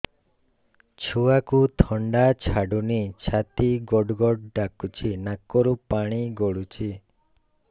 ଛୁଆକୁ ଥଣ୍ଡା ଛାଡୁନି ଛାତି ଗଡ୍ ଗଡ୍ ଡାକୁଚି ନାକରୁ ପାଣି ଗଳୁଚି